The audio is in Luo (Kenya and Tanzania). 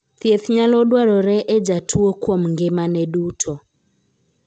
Thiedh nyalo dwarore e jatuo kuom ngimane duto.